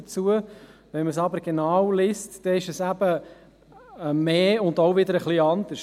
Liest man sie genau, ist es eben mehr und auch etwas anders.